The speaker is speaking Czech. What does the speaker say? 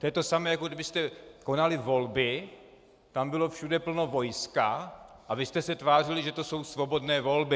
To je to samé, jako kdybyste konali volby, tam bylo všude plno vojska a vy jste se tvářili, že to jsou svobodné volby.